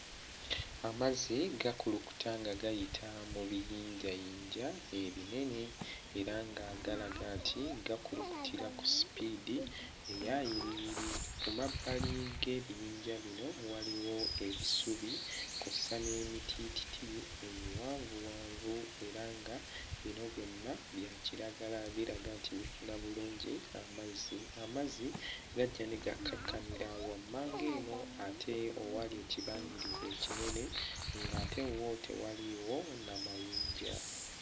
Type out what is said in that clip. Amazzi gakulukuta nga gayita mu biyinjayinja ebinene era nga galaga nti gakulukutira ku sipiidi eya yiriyiri. Ku mabbali g'ebiyinja bino waliwo ebisubi kw'ossa n'emitiititi emiwanvuwanvu era nga bino byonna bya kiragala biraga nti bifuna bulungi amazzi. Amazzi gajja ne gakkakkanira wammanga eno ate owali ekibangirizi ekinene ng'ate wo tewaliiwo na mayinja.